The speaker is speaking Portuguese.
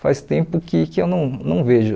faz tempo que que eu não não vejo.